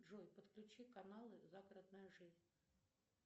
джой подключи каналы загородная жизнь